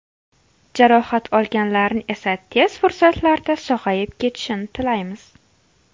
Jarohat olganlarni esa tez fursatlarda sog‘ayib ketishini tilaymiz.